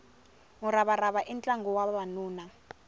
muravarava i ntlangu wa vavanuna